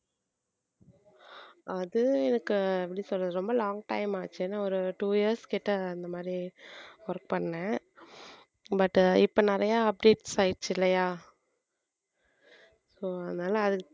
அது எனக்கு எப்படி சொல்றது ரொம்ப long time ஆச்சு ஏன்னா ஒரு two years கிட்ட இந்த மாதிரி work பண்ணேன் but இப்ப நிறைய updates ஆயிருச்சு இல்லையா so அதனால அதுக்கு